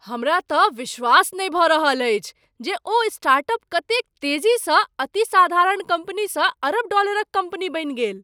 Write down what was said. हमरा तँ विश्वास नहि भऽ रहल अछि जे ओ स्टार्टअप कतेक तेजीसँ अति साधारण कम्पनीसँ अरब डॉलरक कम्पनी बनि गेल।